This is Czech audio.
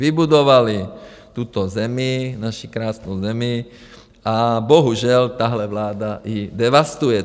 Vybudovali tuto zemi, naši krásnou zemi, a bohužel tahle vláda ji devastuje.